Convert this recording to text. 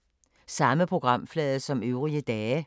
Samme programflade som øvrige dage